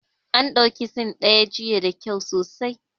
An dauki Scene ɗin jiya da kyau sosai